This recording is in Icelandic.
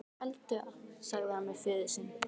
Felldu það, sagði hann við föður sinn.